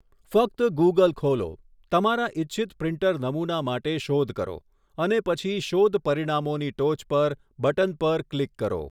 ફક્ત ગુગલ ખોલો, તમારા ઇચ્છિત પ્રિન્ટર નમુના માટે શોધ કરો, અને પછી શોધ પરિણામોની ટોચ પર બટન પર ક્લિક કરો.